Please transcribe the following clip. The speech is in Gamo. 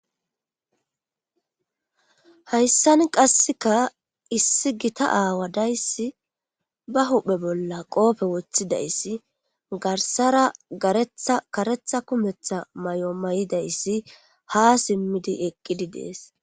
hayssan qasseka issi gita aawa dayssi ba huphe bolla qoofe woththidayssi garsara garetha karetha kumetha may7o may7idayssi ha simmidi eqqidi dees